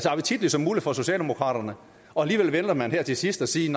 appetitligt som muligt for socialdemokraterne og alligevel vælger man her til sidst at sige